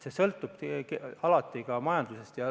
Kõik sõltubki alati ka majandusest.